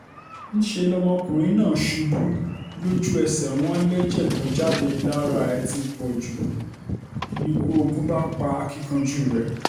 níṣẹ́ lọkùnrin náà ṣubú lójú-ẹsẹ̀ wọn lẹ́jẹ̀ tó jáde lára ẹ̀ ti pọ̀ jù níkù ogun bá pa akínkanjú rẹ́